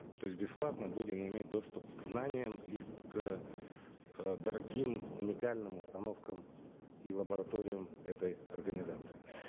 то есть бесплатно будем иметь доступ к знаниям и к э дорогим уникальным установкам и лабораториям этой организации